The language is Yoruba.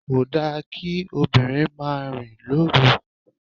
Kò da kí obìnrin máa rìn lóru.